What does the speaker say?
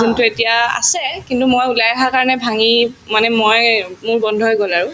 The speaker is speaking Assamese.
যোনতো এতিয়া আছে কিন্তু মই ওলাই অহা কাৰণে ভাঙিল মানে মই মোৰ বন্ধ হৈ গল আৰু